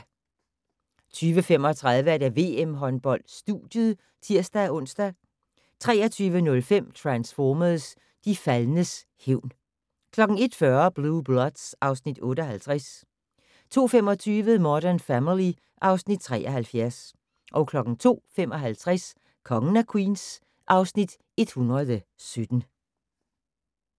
22:35: VM-håndbold: Studiet (tir-ons) 23:05: Transformers: De faldnes hævn 01:40: Blue Bloods (Afs. 58) 02:25: Modern Family (Afs. 73) 02:55: Kongen af Queens (Afs. 117)